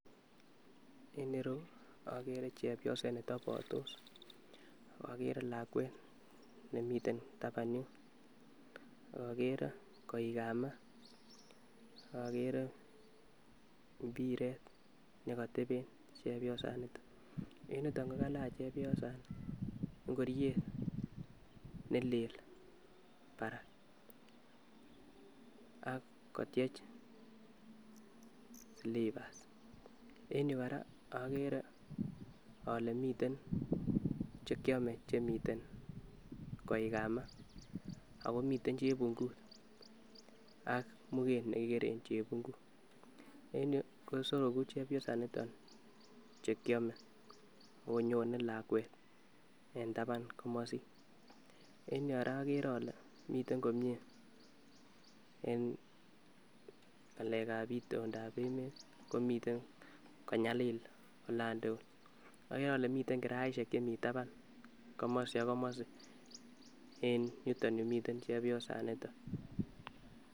En ireu Akere Chebioset Netebotos ak akere Lakwet nemiten taban yun ak akere koikab maa ak akere mpiret nekoteben chebiosani en yuton kokalach chebiosani ngoriet nelel parak ak kotiech silipas en yu kora akere ale miten chekyome chemiten koikab maa akomiten chepungut ak muket nekikeren chepungut en yu kosoroku chebiosanito chekyome akonyone lakwet en taban komosin en yu kora akere ale miten komie en ng'alekab itondab emet komiten konyalil olan tugul akere ale miten kiraishiek chemi taban komosi ak komosi en yuton yumiten chebiosanito.